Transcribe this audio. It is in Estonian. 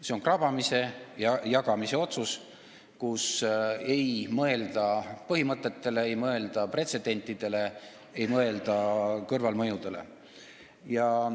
See on krabamise ja jagamise otsus, ei mõelda põhimõtetele, ei mõelda pretsedentidele, ei mõelda kõrvalmõjudele.